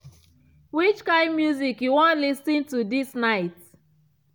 which kind music you wan lis ten to this night